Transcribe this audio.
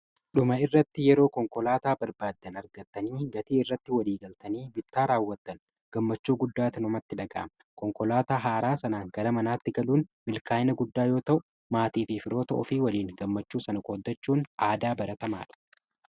Dhuma irratti yeroo konkolaataa barbaaddan argattanii gatii irratti walii galtanii bittaa raawwattan gammachuu guddaata namatti dhagaama.K onkolaataa haaraa sanaan gara manaatti galuun milkaa'ina guddaa yoo ta'u maatii fi firoota ofii waliin gammachuu sana qoddachuun aadaa baratamaadha.